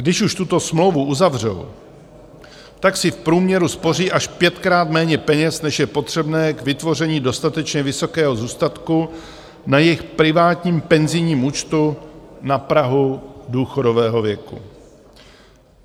Když už tuto smlouvu uzavřou, tak si v průměru spoří až pětkrát méně peněz, než je potřebné k vytvoření dostatečně vysokého zůstatku na jejich privátním penzijním účtu na prahu důchodového věku.